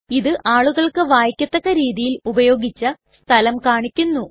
ഇത് ആളുകൾക്ക് വായിക്കത്തക്ക രീതിയിൽ ഉപയോഗിച്ച സ്ഥലം കാണിക്കുന്നു